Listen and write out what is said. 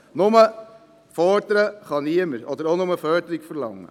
Niemand kann nur fordern oder nur Förderung verlangen.